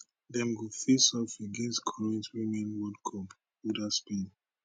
dem go face off against current women world cup holders spain